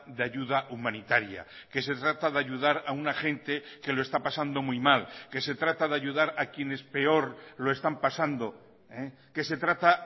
de ayuda humanitaria que se trata de ayudar a una gente que lo está pasando muy mal que se trata de ayudar a quienes peor lo están pasando que se trata